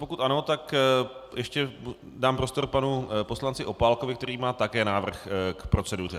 Pokud ano, tak ještě dám prostor panu poslanci Opálkovi, který má také návrh k proceduře.